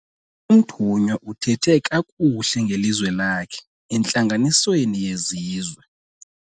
Umthunywa uthethe kakuhle ngelizwe lakhe entlanganisweni yezizwe.